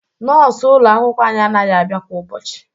Nọọsụ ụlọ akwụkwọ anyị anaghị abịa kwa ụbọchị